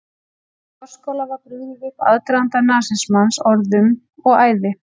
Í forskála var brugðið upp aðdraganda nasismans í orðum og æði.